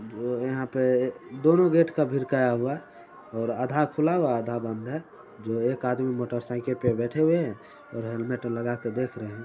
यहाँ पे दोनों गेट के बिरकाया हुआ है और आधा हुआ आधा बंद है जो एक आदमी मोटर साइकिल पे बैठे हुए है और हेलमेट लगा के देख रहे है ।